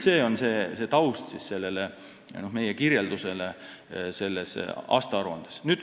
See on taust meie kirjeldusele aastaaruandes.